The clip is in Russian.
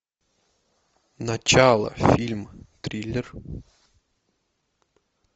начало фильм триллер